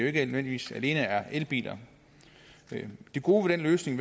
ikke nødvendigvis alene er elbiler det gode ved den løsning